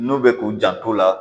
N'u bɛ k'u janto o la